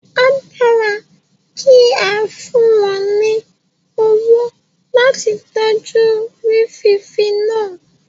A dára kí a fún wọn ní owó láti tọ́jú rí fífi náà